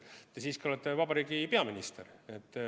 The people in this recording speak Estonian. Te siiski olete vabariigi peaminister.